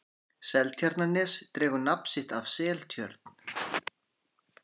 seltjarnarnes dregur nafn sitt af seltjörn